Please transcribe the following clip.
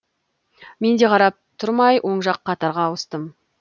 менде қарап тұрмай оң жақ қатарға ауыстым